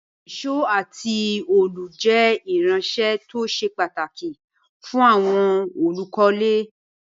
Ìsó àti òòlù je irinsẹ́ to se pàtàkì fún àwon olùkólé